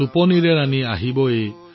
টোপনিৰ দেৱী আহি পাব এতিয়া